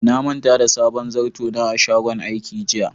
Na manta da sabon zarto na a shagon aiki jiya.